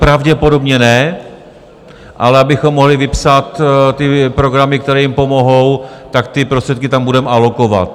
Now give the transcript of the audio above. Pravděpodobně ne, ale abychom mohli vypsat ty programy, které jim pomohou, tak ty prostředky tam budeme alokovat.